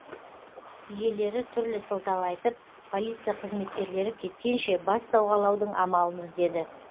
иелері түрлі сылтау айтып полиция қызметкерлері кеткенше бас сауғалаудың амалын іздеді